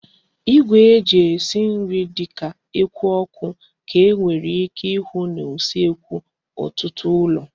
Igwe eji esi nri di ka eku oku ka e nwere ike ihu na usekwu otutu ulo